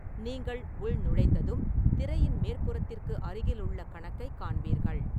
நீங்கள் உள்நுழைந்ததும், திரையின் மேற்புறத்திற்கு அருகிலுள்ள கணக்கைக் காண்பீர்கள்.